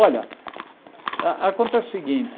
Olha, a acontece o seguinte.